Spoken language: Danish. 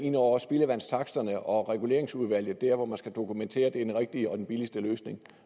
ind over spildevandstaksterne og reguleringsudvalget der hvor man skal dokumentere at det er den rigtige og den billigste løsning